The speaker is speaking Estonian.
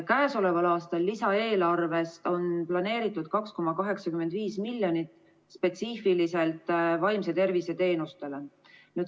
Käesoleva aasta lisaeelarvesse on planeeritud 2,85 miljonit spetsiifiliselt vaimse tervise teenustele.